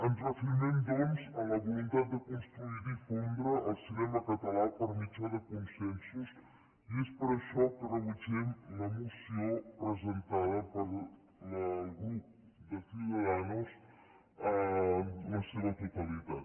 ens reafirmem doncs en la voluntat de construir i difondre el cinema català per mitjà de consensos i és per això que rebutgem la moció presentada pel grup de ciudadanos en la seva totalitat